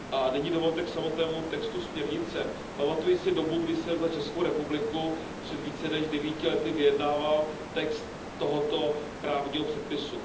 Nyní dovolte k samotnému textu směrnice. Pamatuji si dobu, kdy jsem za Českou republiku před více než devíti lety vyjednával text tohoto právního předpisu.